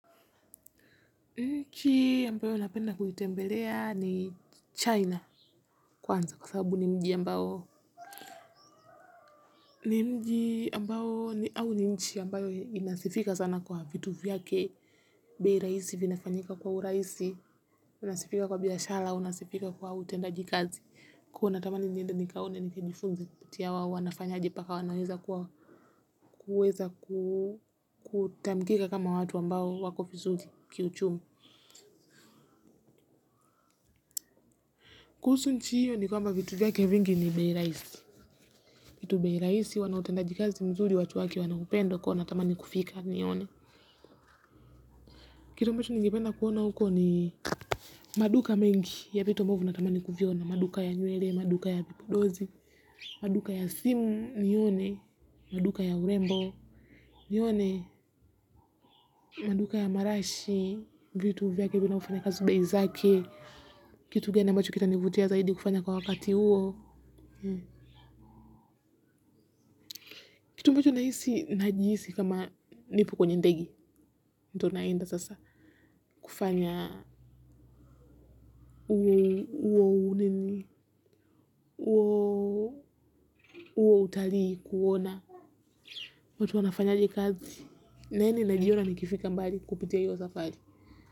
Nchi ambayo napenda kuitembelea ni China kwanza kwa sababu ni mji ambao ni mji ambao au ni nchi ambayo inasifika sana kwa vitu vyake. Bei rahisi vinafanyika kwa uraisi, inasifika kwa biashara, inasifika kwa utendaji kazi. Kwa hiyo natamani niende nikaone ni kijifunze kupitia wao wanafanyaje mpaka wanaweza kuweza kutambulika kama watu ambao wako vizuri kiuchumi. Kuhusu nchi hiyo ni kwamba vitu vyake vingi ni bei rahisi. Kitu bei rahisi huwa na utendaji jazi mzuri watu wake wanaupenda kwa hiyo natamani kufika nione. Kitu ambacho ningependa kuona huko ni maduka mengi ya vitu ambavyo natamani kuviona. Maduka ya nywele, maduka ya vipodozi, maduka ya simu nione. Maduka ya urembo nione. Maduka ya marashi, vitu vyake vinavyofanya kazi bei zake. Kitu gani ambacho kita nivutia zaidi kufanya kwa wakati huo. Kitu ambacho nahisi, najisi kama nipo kwenye ndege, ndo naenda sasa, kufanya. Huo utalii kuona watu wanafanyaje kazi na hili naliona nikifika mbali kupitia hiyo safari.